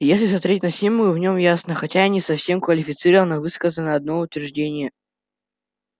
если смотреть на символы в нём ясно хотя и не совсем квалифицированно высказано одно утверждение